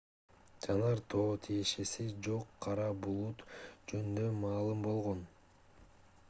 жанар тоого тиешеси жок кара булут жөнүндө маалым болгон